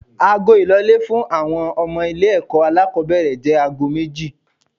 Ago ìlọlé fún àwọn ọmọ ilé ẹ̀kọ́ alákòbẹ̀rẹ̀ jẹ́ aago méjì.